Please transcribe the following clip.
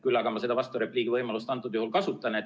Küll aga ma seda vasturepliigi võimalust kasutan.